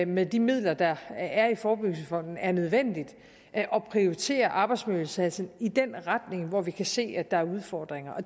med de midler der er i forebyggelsesfonden er nødvendigt at prioritere arbejdsmiljøindsatsen i den retning hvor vi kan se der er udfordringer